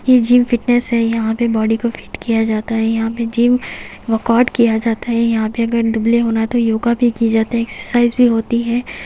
ये gym fitness है यहां पे बॉडी को फिट किया जाता है यहां पे जिम वर्कआउट किया जाता है यहां पे अगर दुबले होना है तो योगा भी की जाता है एक्सरसाइज भी होती है ।